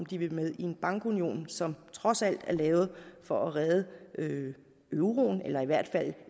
de vil med i en bankunion som trods alt er lavet for at redde euroen eller i hvert fald